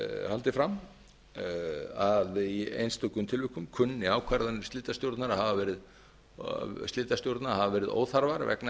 haldið fram að í einstökum tilvikum kunni ákvarðanir slitastjórna að hafa verið óþarfar vegna